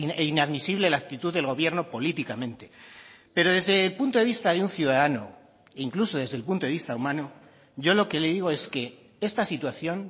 e inadmisible la actitud del gobierno políticamente pero desde el punto de vista de un ciudadano incluso desde el punto de vista humano yo lo que le digo es que esta situación